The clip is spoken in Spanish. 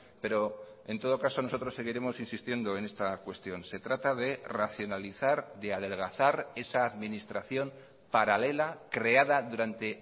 pero en todo caso nosotros seguiremos insistiendo en esta cuestión se trata de racionalizar de adelgazar esa administración paralela creada durante